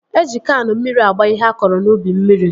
Eji Kaanụ mmiri agba ihe a kọrọ n'ubi mmiri